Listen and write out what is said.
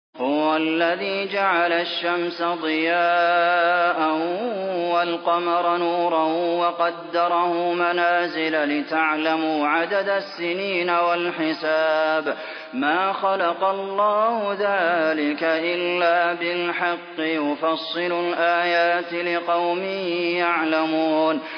هُوَ الَّذِي جَعَلَ الشَّمْسَ ضِيَاءً وَالْقَمَرَ نُورًا وَقَدَّرَهُ مَنَازِلَ لِتَعْلَمُوا عَدَدَ السِّنِينَ وَالْحِسَابَ ۚ مَا خَلَقَ اللَّهُ ذَٰلِكَ إِلَّا بِالْحَقِّ ۚ يُفَصِّلُ الْآيَاتِ لِقَوْمٍ يَعْلَمُونَ